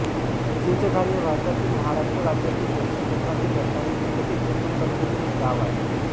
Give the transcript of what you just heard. चिंचघारी हे भारतातील महाराष्ट्र राज्यातील दक्षिण कोकणातील रत्नागिरी जिल्ह्यातील चिपळूण तालुक्यातील एक गाव आहे